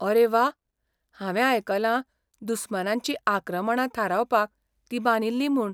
R व्वा! हांवें आयकलां दुस्मानांचीं आक्रमणां थारावपाक ती बांदिल्ली म्हूण.